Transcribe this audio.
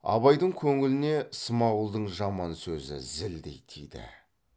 абайдың көңіліне смағұлдың жаман сөзі зілдей тиді